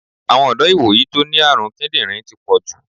Àwọn ọ̀dọ́ ìwòyí tó ní àrùn kídírìn ti pọ̀jù.